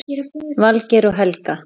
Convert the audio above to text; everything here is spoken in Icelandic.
Valgeir og Helga.